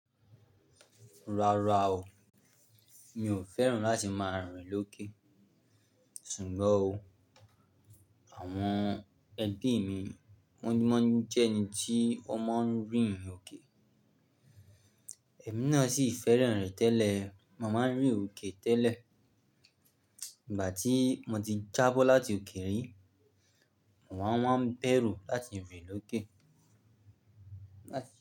Rárá o, mi ò fẹ́ràn láti máa rìn lókè. Ṣùgbọ́n o, àwọn ẹbí mi wọ́n jẹ́ ẹni tí ó máa ń rìn òkè. Ẹ̀mí náà sì fẹ́ràn rẹ̀ tẹ́lẹ̀. Mo máa ń rìn òkè tẹ́lẹ̀. Ìgbà tí mo ti jábọ́ láti òkè rí, mo máa ń bẹ̀rù láti rìn lókè.